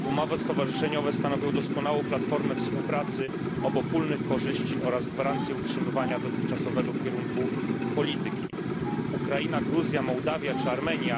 Umowy stowarzyszeniowe stanowią doskonałą platformę współpracy, obopólnych korzyści oraz gwarancję utrzymania dotychczasowego kierunku polityki. Ukraina, Gruzja, Mołdawia czy Armenia